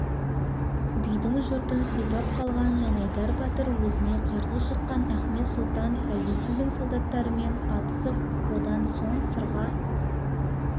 бидің жұртын сипап қалған жанайдар батыр өзіне қарсы шыққан ахмет сұлтан-правительдің солдаттарымен атысып одан соң сырға